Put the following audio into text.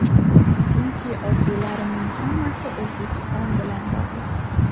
Chunki orzularimning hammasi O‘zbekiston bilan bog‘liq.